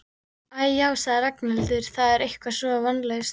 Æ, já sagði Ragnhildur, það er allt eitthvað svo vonlaust